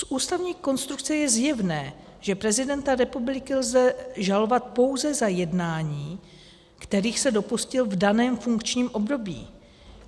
Z ústavní konstrukce je zjevné, že prezidenta republiky lze žalovat pouze za jednání, kterých se dopustil v daném funkčním období.